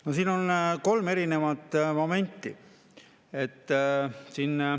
No siin on kolm erinevat momenti.